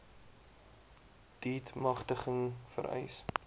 deat magtiging vereis